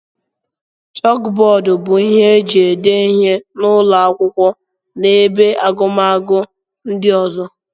Chókbódú bụ ihe e ji ede ihe n'ụlọ akwụkwọ na ebe agụmakwụkwọ ndị ọzọ